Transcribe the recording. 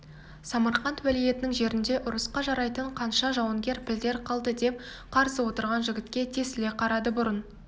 самарқант уәлиетінің жерінде ұрысқа жарайтын қанша жауынгер пілдер қалды деп қарсы отырған жігітке тесіле қарады бұрын